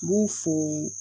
N b'u fo